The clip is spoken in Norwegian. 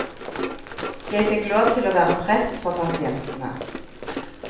Jeg fikk lov til å være prest for pasientene.